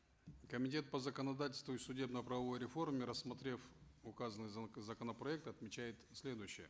комитет по законодательству и судебно правовой реформе рассмотрев указанный законопроект отмечает следующее